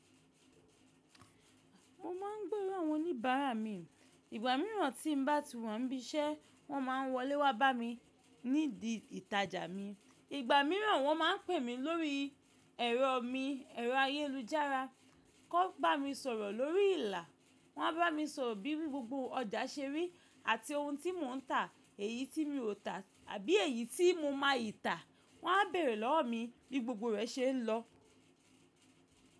Mo máa ń gbòro awọ́n oníbàrá mi. Ìgbà míràn tí ń bá ti wa ń bí iṣẹ́, wọ́n máa ń wọlé wá bá mi ní di ìtajà mi. Ìgbà míràn wọ́n máa ń pè mi lórí ẹ̀rọ mi, ẹ̀rọ ayélujára kó bá mi sọ̀rọ̀ lórí ìlà. Wọ́n a bá mi sọ̀rọ̀ bí gbogbo ọjà ṣe rí àti ohun tí mò ń tà, èyí tí mi ò tà àbí èyí tí mo máa yí tà. Wọ́n á bèrè lọ́wọ́ mi bí gbogbo rẹ̀ ṣe ń lọ.